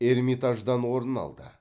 эрмитаждан орын алды